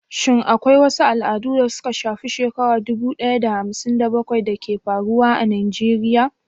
Shin akwai wasu al'adu da suka shafi shekaru dubu ɗaya da hamsin da bakwai da ke faruwa a Najeriya?